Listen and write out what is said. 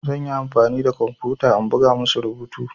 Zan yi amfani da kwamfuta in buga musu rubutu.